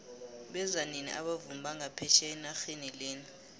beza nini abavumi banga phetjheya enaxheni lena